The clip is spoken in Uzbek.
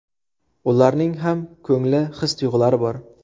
Ularning ham ko‘ngli, his-tuyg‘ulari bor.